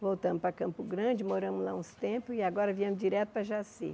Voltamos para Campo Grande, moramos lá uns tempos, e agora viemos direto para Jaci.